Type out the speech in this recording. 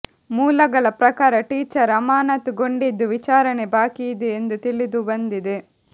ಮೂಲಗಳ ಪ್ರಕಾರ ಟೀಚರ್ ಅಮಾನತುಗೊಂಡಿದ್ದು ವಿಚಾರಣೆ ಬಾಕಿ ಇದೆ ಎಂದು ತಿಳಿದು ಬಂದಿದೆ